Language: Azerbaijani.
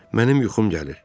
Mənim yuxum gəlir.